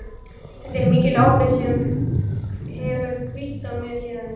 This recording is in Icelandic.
Þetta er mikil ábyrgð sem hefur hvílt á mér síðan.